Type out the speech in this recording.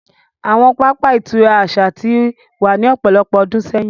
Awọn pápá ìturá aṣa ti wa ni ọpọlọpọ ọdun sẹyin.